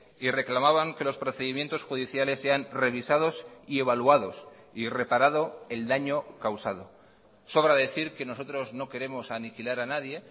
y reclamaban que los procedimientos judiciales sean revisados y evaluados y reparado el daño causado sobra decir que nosotros no queremos aniquilar a nadie